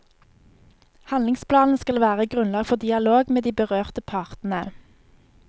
Handlingsplanen skal være grunnlag for dialog med de berørte partene.